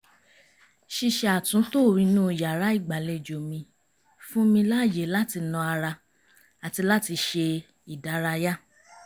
ṣíṣe àtúntò inú yàrá ìgbàlejò mi fún mi ààyè láti na ara àti láti ṣe ìdárayá